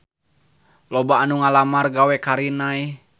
Loba anu ngalamar gawe ka Rinnai